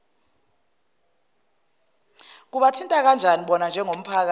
kubathinta kanjanibona njengomphakathi